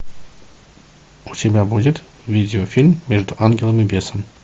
у тебя будет видеофильм между ангелом и бесом